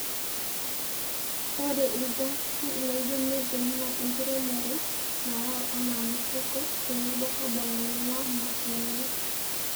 ore ilgasi laijo methane naa enkiremore nayau anaa mifugo tenebo carbon nainguaa mashinini